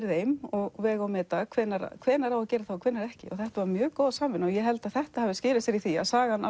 þeim og vega og meta hvenær hvenær á að gera það og hvenær ekki þetta var mjög góð samvinna ég held að þetta skili sér í því að sagan